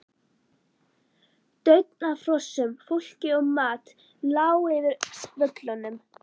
Daunn af hrossum, fólki og mat lá yfir völlunum.